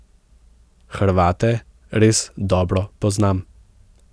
Hrvate res dobro poznam.